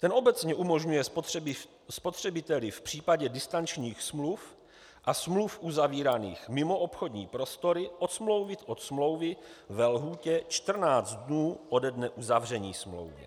"Ten obecně umožňuje spotřebiteli v případě distančních smluv a smluv uzavíraných mimo obchodní prostory odstoupit od smlouvy ve lhůtě 14 dnů ode dne uzavření smlouvy.